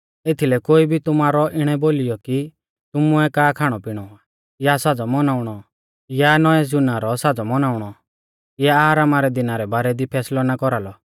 एथीलै कोई भी तुमारौ इणै बोलीयौ कि तुमुऐ का खाणौपिणौ आ या साज़ौ मौनाउणौ या नौईं ज़ूना रौ साज़ौ मौनाउणौ या आरामा रै दिना रै बारै दी फैसलौ ना कौरालौ